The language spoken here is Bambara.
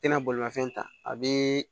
Tɛna bolimafɛn ta a bɛ